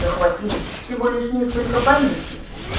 захватили всего лишь несколько поместий